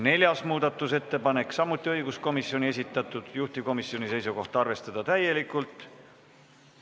Neljas muudatusettepanek, samuti õiguskomisjoni esitatud, juhtivkomisjoni seisukoht: arvestada täielikult.